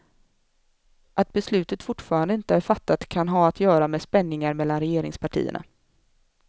Att beslutet fortfarande inte är fattat kan ha att göra med spänningar mellan regeringspartierna.